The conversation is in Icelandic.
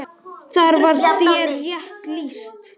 Þar var þér rétt lýst!